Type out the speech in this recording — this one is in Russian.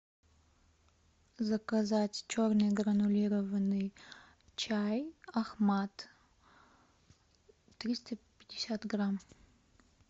заказать черный гранулированный чай ахмад триста пятьдесят грамм